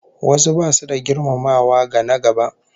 Wasu basu da girmamawa ga na-gaba